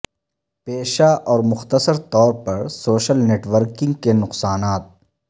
پیشہ اور مختصر طور پر سوشل نیٹ ورکنگ کی نقصانات